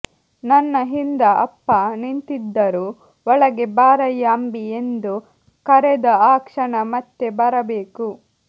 ನನ್ನ ಹಿಂದ ಅಪ್ಪ ನಿಂತಿದ್ದರು ಒಳಗೆ ಬಾರಯ್ಯಾ ಅಂಬಿ ಎಂದು ಕರೆದ ಆ ಕ್ಷಣ ಮತ್ತೆ ಬರಬೇಕು